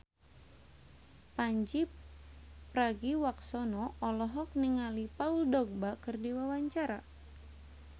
Pandji Pragiwaksono olohok ningali Paul Dogba keur diwawancara